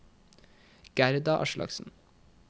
Gerda Aslaksen